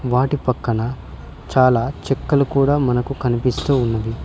వాటి పక్కన చాలా చుక్కలు కూడా మనకు కనిపిస్తూ ఉన్నవి.